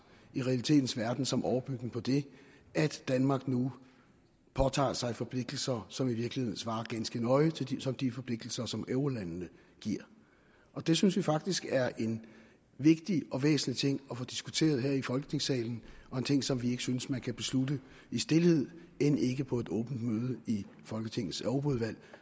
i realitetens verden som overbygning på det at danmark nu påtager sig forpligtelser som i virkeligheden svarer ganske nøje til de til de forpligtelser som eurolandene giver det synes vi faktisk er en vigtig og væsentlig ting at få diskuteret her i folketingssalen og en ting som vi ikke synes at man kan beslutte i stilhed end ikke på et åbent møde i folketingets europaudvalg